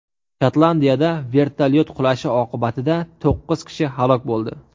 Shotlandiyada vertolyot qulashi oqibatida to‘qqiz kishi halok bo‘ldi.